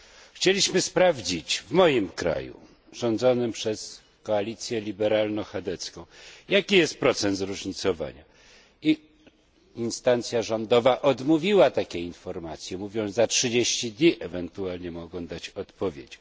Chcieliśmy sprawdzić w moim kraju, rządzonym przez koalicję liberalno chadecką, jaki jest procent zróżnicowania, i instancja rządowa odmówiła takiej informacji, mówiąc, że za trzydzieści dni ewentualnie mogą dać odpowiedź.